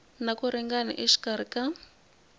na ku ringana exikarhi ka